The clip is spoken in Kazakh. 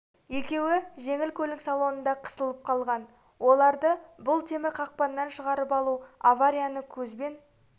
арасында екеуі жеңіл көлік салонында қысылып қалған оларды бұл темір қақпаннан шығарып алу аварияны көзбен